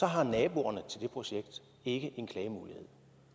har naboerne til det projekt ikke en klagemulighed